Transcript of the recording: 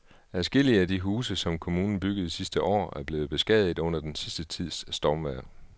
Adskillige af de huse, som kommunen byggede sidste år, er blevet beskadiget under den sidste tids stormvejr.